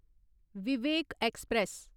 Vivek express